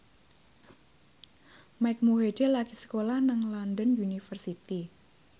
Mike Mohede lagi sekolah nang London University